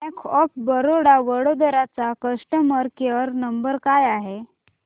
bank of Baroda Vadodara चा customer care number काय आहे